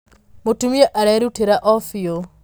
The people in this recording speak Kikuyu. Mũtumia arerutĩra o biũ.